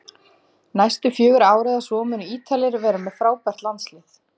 Næstu fjögur ár eða svo munu Ítalir vera með frábært landslið